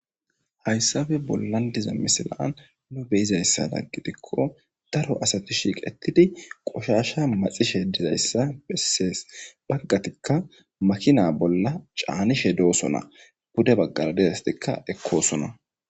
Hayssape bollan diza misilan nu be7izayssada gidikko daro asati shiiqettidi qoshaasha maxishe dizayssa bessees. Baggatikka makina bolla caanishe doosona. Pude baggaara dizaystikka ekkoosona.